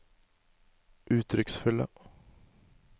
uttrykksfulle